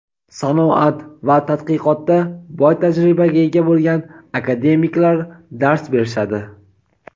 sanoat va tadqiqotda boy tajribaga ega bo‘lgan akademiklar dars berishadi.